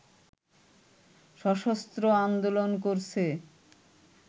সশস্ত্র আন্দোলন করছে